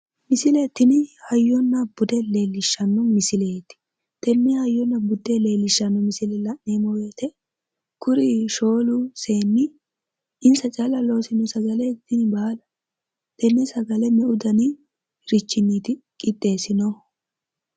misile tini hayyona bude leellishshano misileeti tenne hayyona bude leellishshano misile la'neemmo wote kuri shoolu seenni insa callu loosino sagale tini baalu?, tenne sagale meu daniniiti qixxeessinohu?